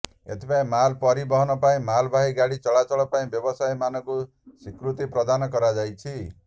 ଏଥିପାଇଁ ମାଲ ପରିବହନ ପାଇଁ ମାଳବାହୀ ଗାଡି ଚଳାଚଳ ପାଇଁ ବ୍ୟବସାୟୀ ମାନଙ୍କୁ ସ୍ବିକୃତି ପ୍ରଦାନ କରାଯାଇଛି